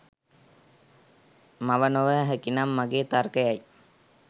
මව නොව හැකිනම් මගේ තර්කයයි.